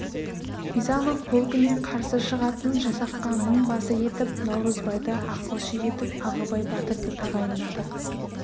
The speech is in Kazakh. бизанов полкіне қарсы шығатын жасаққа мыңбасы етіп наурызбайды ақылшы етіп ағыбай батырды тағайындады